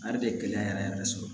A yɛrɛ bɛ gɛlɛya yɛrɛ yɛrɛ yɛrɛ sɔrɔ